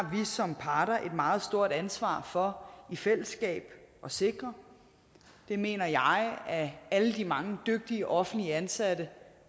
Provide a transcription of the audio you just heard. som parter et meget stort ansvar for i fællesskab at sikre det mener jeg at alle de mange dygtige offentligt ansatte